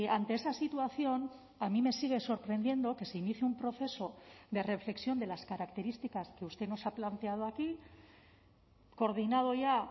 ante esa situación a mí me sigue sorprendiendo que se inicie un proceso de reflexión de las características que usted nos ha planteado aquí coordinado ya